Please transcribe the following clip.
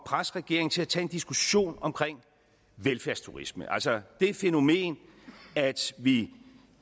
presse regeringen til at tage en diskussion om velfærdsturisme altså det fænomen at vi